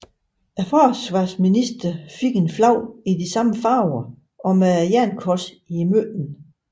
Forsvarsministeren fik et flag i de samme farver og med Jernkorset i midten